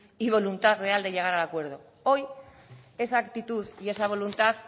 y voluntad real de llegar al acuerdo hoy a esa actitud y esa voluntad